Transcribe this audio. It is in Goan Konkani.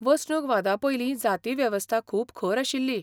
वसणुकवादापयलीं जातीवेवस्था खूब खर आशिल्ली.